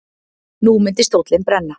Nú myndi stóllinn brenna.